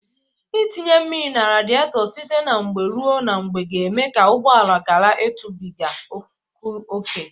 Ịtinye mmiri na radịetọ site na mgbe ruo na mgbe ga-eme ka ụgbọala gara ịtụbịga ọkụ oke.